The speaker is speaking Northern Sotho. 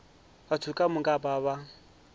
batho ka moka ba ba